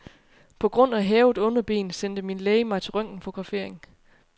På grund af hævet underben sendte min læge mig til røntgenfotografering.